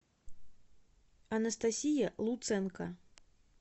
анастасия луценко